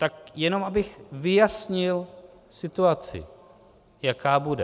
Tak jenom abych vyjasnil situaci, jaká bude.